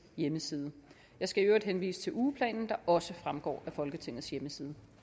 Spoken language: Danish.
hjemmeside jeg skal i øvrigt henvise til ugeplanen der også fremgår af folketingets hjemmeside